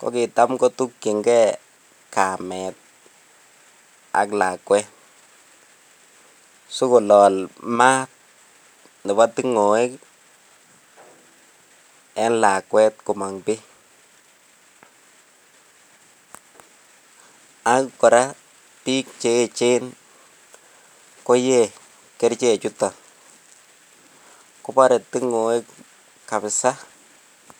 kot kitam kotuyingee kamet ak lakwet sikolol maat nebo tingoek en lakwet komong bii ak koraa en biik Cheechen koyee koraa kerichek chuton kobore tingoek kabisa